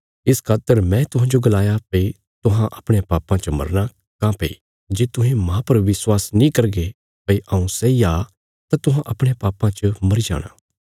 इस खातर मैं तुहांजो गलाया भई तुहां अपणयां पापां च मरना काँह्भई जे तुहें मांह पर विश्वास नीं करगे भई हऊँ सैई आ तां तुहां अपणयां पापां च मरी जाणा